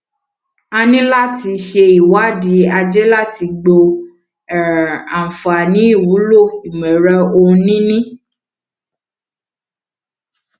a níláti ṣe ìwádìí ajé láti gbọ um àǹfààníìwúlò ìmọẹrọ ohun nìní